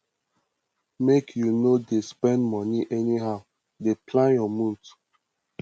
make you no dey spend moni anyhow dey plan your month